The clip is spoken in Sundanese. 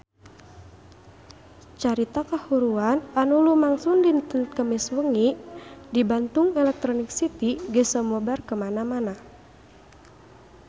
Carita kahuruan anu lumangsung dinten Kemis wengi di Bandung Electronic City geus sumebar kamana-mana